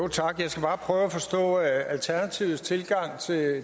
tak jeg skal bare prøve at forstå alternativets tilgang